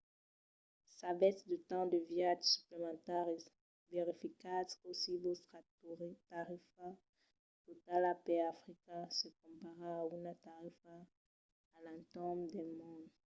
s'avètz de temps de viatge suplementari verificatz cossí vòstra tarifa totala per africa se compara a una tarifa a l'entorn del mond